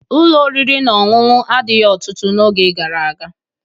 Ụlọ oriri na ọṅụṅụ adịghị ọtụtụ n'oge gara aga